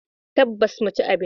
Tabbas, mu ci abinci.